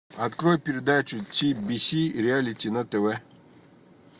открой передачу ти би си реалити на тв